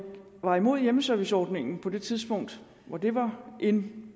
var imod hjemmeserviceordningen på det tidspunkt hvor det var in